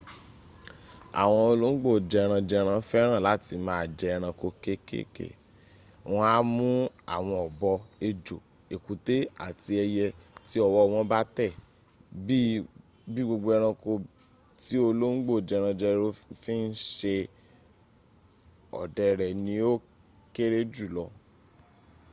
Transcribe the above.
àwọn olóńgbò jẹranjẹran féràn láti ma jẹ ẹranko kekeke. wọn a mú àwọn ọ̀bọ ejò ẹ̀kútẹ́ àti ẹyẹ tí ọwọ́ wọn bá tẹ̀. bí i gbogbo ẹranko ti olóńgbo jẹranjẹran fi n ṣe ọdẹ rẹ ni o kẹ́rẹ́ juu lọ